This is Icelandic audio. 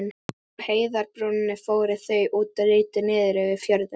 Á heiðarbrúninni fóru þau út og litu niður yfir fjörðinn.